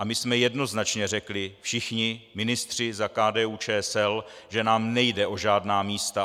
A my jsme jednoznačně řekli, všichni ministři za KDU-ČSL, že nám nejde o žádná místa.